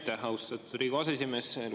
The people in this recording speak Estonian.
Aitäh, austatud Riigikogu aseesimees!